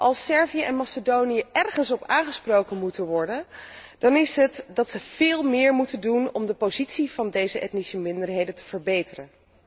Als Servië en Macedonië ergens op aangesproken moeten worden, dan is het dat zij veel meer moeten doen om de positie van deze etnische minderheden te verbeteren.